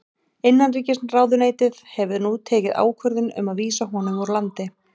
Innanríkisráðuneytið hefur nú tekið ákvörðun um að vísa honum úr landi.